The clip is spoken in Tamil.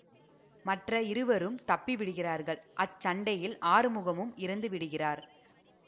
மற்ற இருவரும் தப்பிவிடுகிறார்கள் அச்சண்டையில் ஆறுமுகமும் இறந்து விடுகிறார்